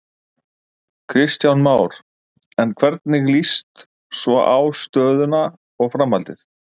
Kristján Már: En hvernig líst svo á stöðuna og framhaldið?